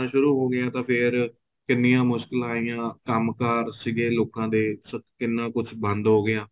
ਸ਼ੁਰੂ ਹੋ ਗਿਆ ਤਾਂ ਫੇਰ ਕਿੰਨੀਆਂ ਮੁਸ਼ਕਿਲਾ ਆਈਆਂ ਕੰਮ ਕਾਰ ਸੀਗੇ ਲੋਕਾ ਦੇ ਕਿੰਨਾ ਕੁੱਛ ਬੰਦ ਹੋ ਗਿਆ